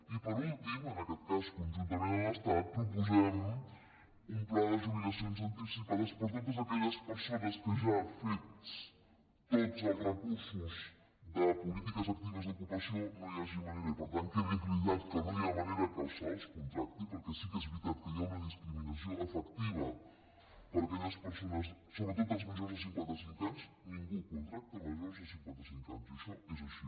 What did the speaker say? i per últim en aquest cas conjuntament amb l’estat proposem un pla de jubilacions anticipades per a totes aquelles persones que ja han fet tots els recursos de polítiques actives d’ocupació no hi hagi manera i per tant quedi acreditat que no hi ha manera que se’ls contracti perquè sí que és veritat que hi ha una discriminació efectiva per a aquelles persones sobretot els majors de cinquanta cinc anys ningú contracta majors de cinquanta cinc anys i això és així